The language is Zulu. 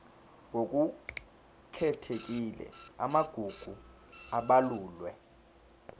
ngokukhethekile amagugu abalulwe